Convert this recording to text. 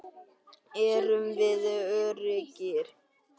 Erum við öruggir?